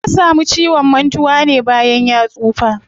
Ya samu ciwon mantuwa ne bayan ya tsufa.